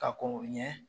Ka kɔn ɲɛ